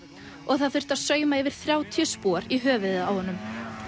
og það þurfti að sauma yfir þrjátíu spor í höfuðið á honum